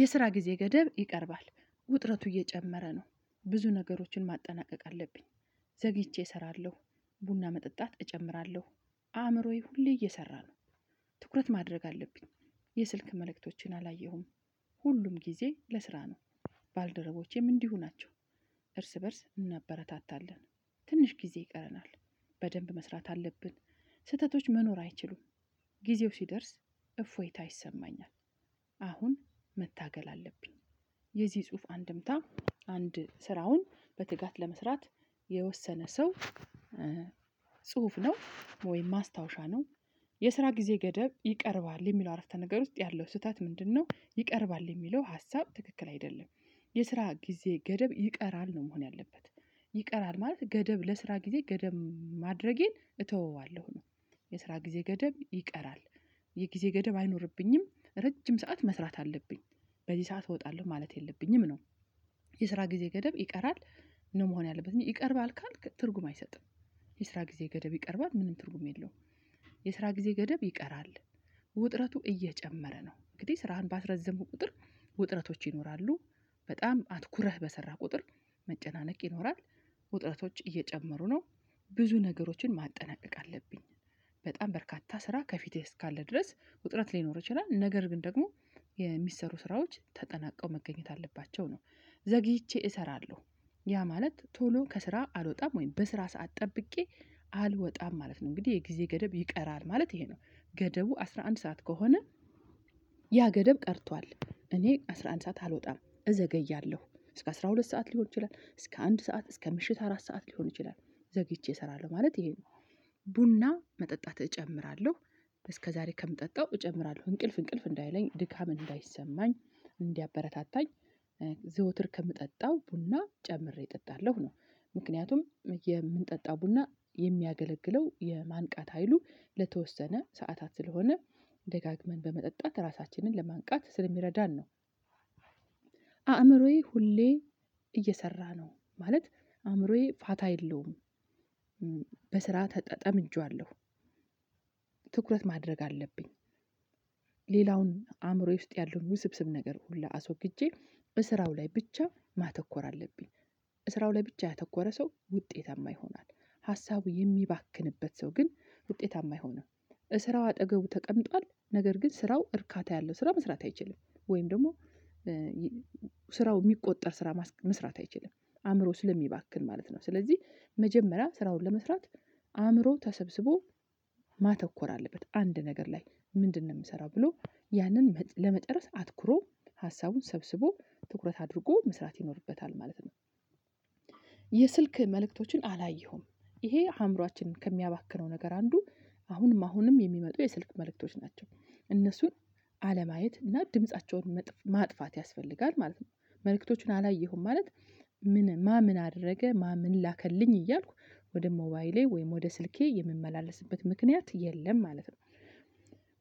የስራ ጊዜ ገደብ ይቀርባል ውጥረቱ እየጨመረ ነው ብዙ ነገሮችን ማጠናቀቅ አለብኝ ዘግይቼ እሰራለሁ ቡና መጠጣት እጨምራለሁ አእምሮዬ ሁሌ እየሰራ ነው ትኩረት ማድረግ አለብኝ የስልክ መልእክቶችን አላየሁም ሁሉም ጊዜ ለስራ ነው ባልደረቦቼም እንዲሁ ናቸው እርስ በእርስ እናበረታታለን ትንሽ ጊዜ ይቀረናል በደንብ መስራት አለብን ስህተቶች መኖር አይችሉም ጊዜው ሲደርስ እፎይታ ይሰማኛል። አሁን መታገል አለብኝ የዚህ ጽሁፍ አንድምታ አንድ ስራውን በትጋት ለመስራት የወሰነ ሰው ጽሁፍ ነው ወይም ማስታወሻ ነው የስራ ጊዜ ገደብ ይቀርባል የሚለው አረፍተ ነገር ውስጥ ያለው ስህተት ምንድነው ይቀርባል የሚለው ሀሳብ ትክክል አይደለም የስራ ጊዜ ገደብ ይቀራል ነው መሆን ያለበት ይቀራል ማለት ገደብ ለስራ ጊዜ ገደብ ማድረጌን እተወዋለሁ ነው የስራ ጊዜ ገደብ ይቀራል የጊዜ ገደብ አይኖርብኝም ረጅም ሰዓት መስራት አለብኝ በዚህ ሰዓት እወጣለሁ ማለት የለብኝም ነው የስራ ጊዜ ገደብ ይቀራል ነው መሆን ያለበት እንጂ ይቀርባል ካልክ ትርጉም አይሰጥም የስራ ጊዜ ገደብ ይቀርባል ምንም ትርጉም የለውም የስራ ጊዜ ገደብ ይቀራል ውጥረቱ እየጨመረ ነው እንግዲህ ስራህን ባስረዘምከው ቁጥር ውጥረቶች ይኖራሉ በጣም አትኩረህ በሰራህ ቁጥር መጨናነቅ ይኖራል ውጥረቶች እየጨመሩ ነው ብዙ ነገሮችን ማጠናቀቅ አለብኝ በጣም በርካታ ስራ ከፊቴ እስካለ ድረስ ውጥረት ሊኖር ይችላል ነገር ግን ደግሞ የሚሰሩ ስራዎች ተጠናቀው መገኘት አለባቸው ነው። ዘግይቼ እሰራለሁ፣ ያ ማለት ቶሎ ከስራ አልወጣም ወይም በስራ ሰዓት ጠብቄ አልወጣም ማለት ነው። እንግዲህ የጊዜ ገደብ ይቀራል ማለት ይሄ ነው። ገደቡ አስራ አንድ ሰዓት ከሆነ ያ ገደብ ቀርቷል እኔ አስራ አንድ ሰዓት አልወጣም እዘገያለሁ እስከ አስራ ሁለት ሰዓት ሊሆን ይችላል እስከ አንድ ሰዓት እስከ ምሽት አራት ሰዓት ሊሆን ይችላል ዘግይቼ እሰራለሁ ማለት ይሄ ነው ቡና መጠጣት እጨምራለሁ እስከዛሬ ከምጠጣው እጨምራለሁ እንቅልፍ እንቅልፍ እንዳይለኝ ድካም እንዳይሰማኝ እንዲያበረታታኝ ዘወትር ከምጠጣው ቡና ጨምሬ እጠጣለሁ ነው። ምክንያቱም የምንጠጣው ቡና የሚያገለግለው የማንቃት ሀይሉ ለተወሰነ ሰዓታት ስለሆነ ደጋግመን በመጠጣት ራሳችንን ለማንቃት ስለሚረዳን ነው። አእምሮዬ ሁሌ እየሰራ ነው ማለት አእምሮዬ ፋታ የለውም በስራ ተጠ ጠምጀዋለሁ ትኩረት ማድረግ አለብኝ ሌላውን አእምሮዬ ውስጥ ያለውን ውስብስብ ነገር ሁላ አስወግጄ በስራው ላይ ብቻ ማተኮር አለብኝ። በስራው ላይ ብቻ ያተኮረ ሰው ውጤታማ ይሆናል። ሀሳቡ የሚባክንበት ሰው ግን ውጤታማ አይሆንም። ስራው አጠገቡ ተቀምጧል ነገር ግን ስራው እርካታ ያለው ስራ መስራት አይችልም ወይም ደግሞ ስራው የሚቆጠር ስራ መስራት አይችልም አእምሮ ስለሚባክን ማለት ነው ስለዚህ መጀመሪያ ስራውን ለመስራት አእምሮ ተሰብስቦ ማተኮር አለበት አንድ ነገር ላይ ምንድነው የምሰራው ብሎ ያንን መጥ ለመጥረስ አትኩሮ ሀሳቡን ሰብስቦ ትኩረት አድርጎ መስራት ይኖርበታል ማለት ነው። የስልክ መልእክቶችን አላየሁም ይሄ አእምሮአችንን ከሚያባክነው ነገር አንዱ አሁንም አሁንም የሚመጡ የስልክ መልእክቶች ናቸው። እነሱን አለማየት እና ድምፃቸውን ምጥ ማጥፋት ያስፈልጋል ማለት ነው። መልእክቶቹን አላየሁም ማለት ማ ምን አደረገ ማ ምን ላከልኝ እያልኩ ወደ ሞባይሌ ወይም ወደ ስልኬ የምመላለስበት ምክንያት የለም ማለት ነው።